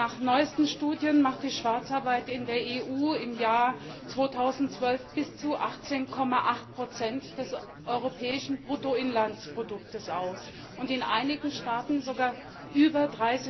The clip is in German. Nach neuesten Studien macht die Schwarzarbeit in der EU im Jahr 2012 bis zu 18,8 des europäischen Bruttoinlandsprodukts aus, in einigen Staaten sogar über